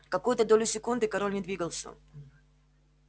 какую-то долю секунды король не двигался